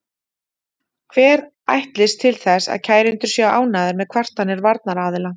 Hver ætlist til þess að kærendur séu ánægðir með kvartanir varnaraðila?